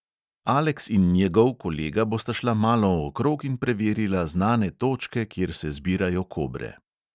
Alex in njegov kolega bosta šla malo okrog in preverila znane točke, kjer se zbirajo kobre.